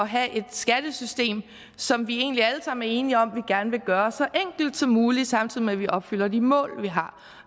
have et skattesystem som vi egentlig alle sammen er enige om vi gerne vil gøre så enkelt som muligt samtidig med at vi opfylder de mål vi har